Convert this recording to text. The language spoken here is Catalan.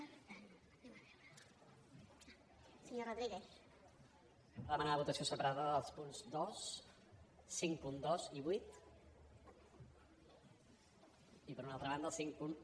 per demanar votació separada dels punts dos cinquanta dos i vuit i per una altra banda el cinquanta un